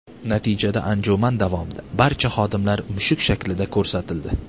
Natijada anjuman davomida barcha xodimlar mushuk shaklida ko‘rsatildi.